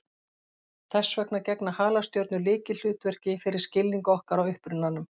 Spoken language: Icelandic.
Þess vegna gegna halastjörnur lykilhlutverki fyrir skilning okkar á upprunanum.